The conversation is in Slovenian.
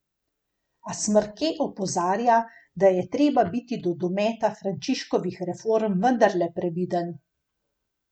A Smrke opozarja, da je treba biti do dometa Frančiškovih reform vendarle previden.